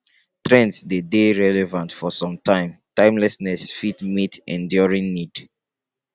trends de dey relevant for some time timelessness fit meet enduring need